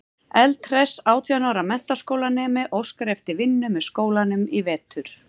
Eldhress átján ára menntaskólanemi óskar eftir vinnu með skólanum í vetur.